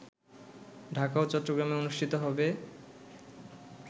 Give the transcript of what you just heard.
ঢাকা ও চট্টগ্রামে অনুষ্ঠিত হবে